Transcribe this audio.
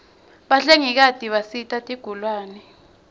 bahlengikati bisita tigulane